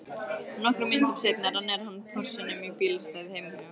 Nokkrum mínútum seinna rennir hann Porsinum í bílastæðið heima hjá